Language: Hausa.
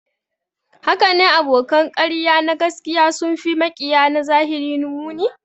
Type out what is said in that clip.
Hakane, abokan ƙarya na gaskiya sun fi maƙiya na zahiri muni